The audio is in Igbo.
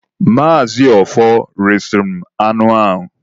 Maazị Ọfọr resịrị m anụ a.